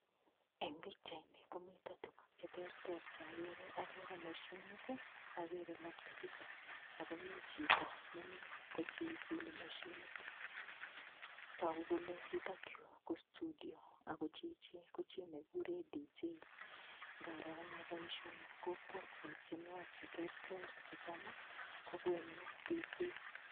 Eng' pikchaini komito tukuk cheterter chakere agere moshinit agere laptopit akomi chito nemi kochilchili mashinit toku kole yutokyu ko studio ako chichi ko chi nekikure DJ ngaro ane boishoni kopwotwo tienwok cheterter checham kokonu DJ